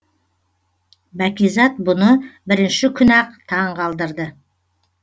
бәкизат бұны бірінші күні ақ таң қалдырды